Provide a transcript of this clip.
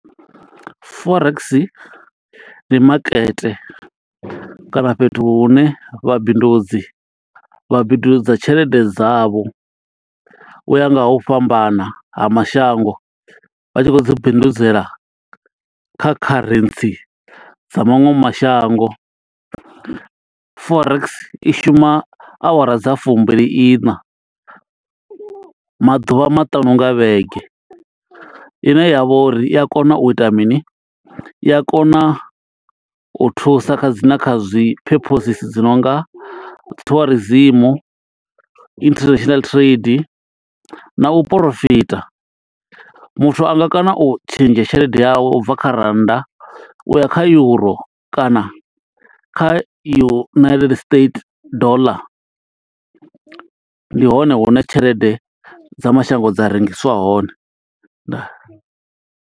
Forex ndi makete kana fhethu hune vhabindudzi vha bindudza tshelede dza vho. Uya nga ha u fhambana ha mashango, vha tshi khou dzi bindudzela kha kharentsi dza maṅwe mashango. Forex i shuma awara dza fumbiliiṋa, maḓuvha maṱanu nga vhege. Ine ya vha uri, i a kona u ita mini? I a kona u thusa kha dzi na kha zwi purposes dzi nonga tourism, international trade na u porofita. Muthu anga kona u tshentsha tshelede yawe ubva kha rannda u ya kha euro, kana kha United States dollar. Ndi hone hune tshelede dza mashango dza rengiswa hone. Ndaa.